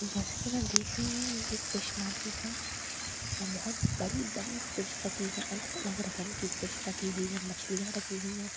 जैसा कि मैं देख रही हूं ये फिश मार्केट है यहां बहुत बड़ी बड़ी फिश रखी है अलग अलग रकम की फिश रखी हुई है मछलियां रखी हुई है --